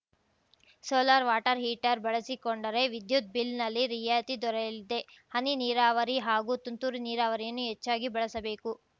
solar water heater ಬಳಸಿಕೊಂಡರೆ ವಿದ್ಯುತ್‌ ಬಿಲ್‌ನಲ್ಲಿ ರಿಯಾಯಿತಿ ದೊರೆಯಲಿದೆ ಹನಿ ನೀರಾವರಿ ಹಾಗೂ ತುಂತುರು ನೀರಾವರಿಯನ್ನು ಹೆಚ್ಚಾಗಿ ಬಳಸಬೇಕು